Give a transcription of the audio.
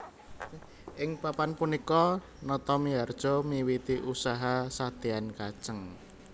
Ing Papan punika Natamiharja miwiti usaha sadean kajeng